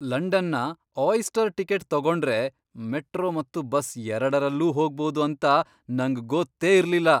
ಲಂಡನ್ನ Oyster ticket ತಗೊಂಡ್ರೆ metro ಮತ್ತು ಬಸ್ ಎರಡರಲ್ಲೂ ಹೊಗ್ಬೋದು ಅಂತ ನಂಗ್ ಗೊತ್ತೇ ಇರ್ಲಿಲ್ಲ.